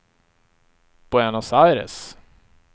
Buenos Aires